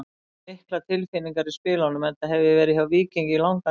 Það eru miklar tilfinningar í spilunum enda hef ég verið hjá Víkingi í langan tíma.